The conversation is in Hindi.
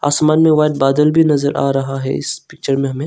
आसमान में व्हाइट बादल भी नजर आ रहा है इस पिक्चर में हमें।